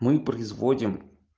мы производим